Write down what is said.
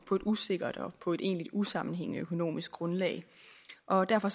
usikkert og på et egentligt usammenhængende økonomisk grundlag og derfor